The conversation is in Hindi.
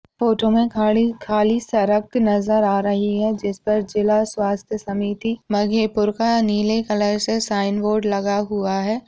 फोटो में खाड़ी खाली सड़क नजर आ रही है जिसपे जिला स्वास्थ समिति मघेपुर का नीले कलर से साइन बोर्ड लगा हुआ है।